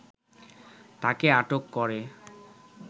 তাকে আটক করে